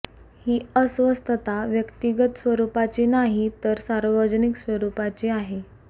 ही अस्वस्थता व्यक्तिगत स्वरूपाची नाही तर सार्वजनिक स्वरूपाची आहे